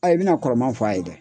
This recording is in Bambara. A i bina kɔrɔmanw fɔ a ye dɛ!